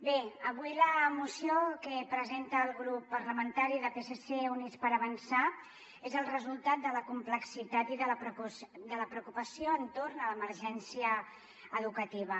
bé avui la moció que presenta el grup parlamentari de psc i units per avançar és el resultat de la complexitat i de la preocupació entorn de l’emergència educativa